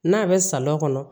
N'a bɛ salɔn kɔnɔ